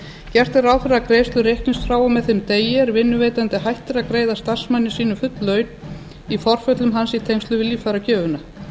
gert er ráð fyrir að greiðslur reiknist frá og með þeim degi er vinnuveitandi hættir að greiða starfsmanni sínum full laun í forföllum hans í tengslum við líffæragjöfina